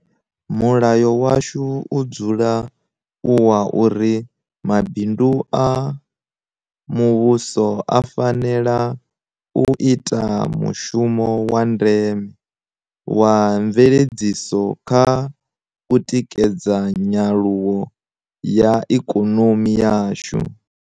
Mulayo washu u dzula u wa uri Mabindu a Muvhuso a fanela u ita mushumo wa ndeme wa mveledziso kha u tikedza nyaluwo ya ikonomi yashu.